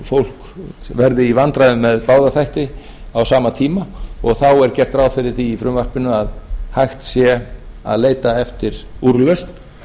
fólk verði í vandræðum með báða þætti á sama tíma og þá er gert ráð fyrir því í frumvarpinu að hægt sé að leita eftir úrlausn